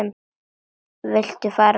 Viltu fara frá!